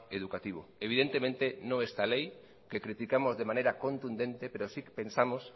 educativo evidentemente no esta ley que criticamos de manera contundente pero sí pensamos